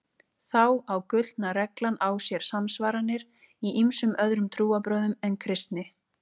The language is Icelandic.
Þá á gullna reglan á sér samsvaranir í ýmsum öðrum trúarbrögðum en kristni.